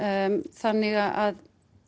þannig að